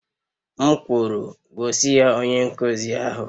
M kwuru, gosi ya onye nkuzi ahụ!